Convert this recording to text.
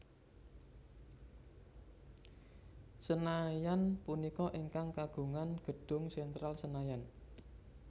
Senayan punika ingkang kagungan gedung Sentral Senayan